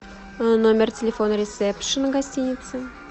номер телефона ресепшена гостиницы